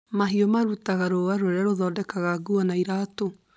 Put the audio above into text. Mahiũ marutaga rũa rũrĩa rũthondekaga nguo na iratũ